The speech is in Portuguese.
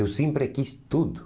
Eu sempre quis tudo.